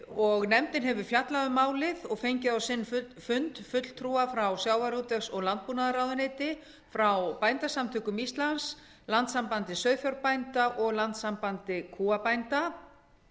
og nefndin hefur fjallað um málið og fengið á sinn fund fulltrúa frá sjávarútvegs og landbúnaðarráðuneyti frá bændasamtökum íslands landssambandi sauðfjárbænda og landssambandi kúabænda